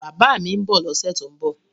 Bàbá mi ń bọ̀ lọ́sẹ̀ tó ń bọ̀